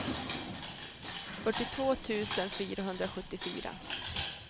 fyrtiotvå tusen fyrahundrasjuttiofyra